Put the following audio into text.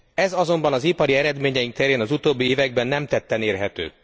Ez azonban az ipari eredményeink terén az utóbbi években nem tetten érhető.